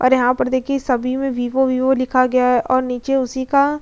और यहां पर देखिए सभी में विवो विवो लिखा गया है और नीचे उसी का --